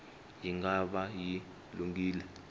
yi nga va yi lunghile